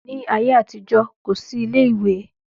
Ní ayé àtijó, kò sí ilé ìwé